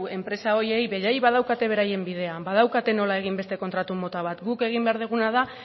enpresa horiei beraiek badaukate beraien bidea badaukate nola egin beste kontratu mota bat guk egin behar duguna da